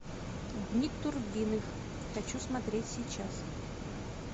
дни турбиных хочу смотреть сейчас